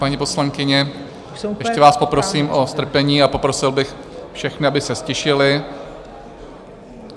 Paní poslankyně, ještě vás poprosím o strpení a poprosil bych všechny, aby se ztišili.